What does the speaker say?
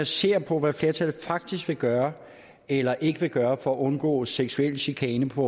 ser på hvad flertallet faktisk vil gøre eller ikke vil gøre for at undgå at seksuel chikane på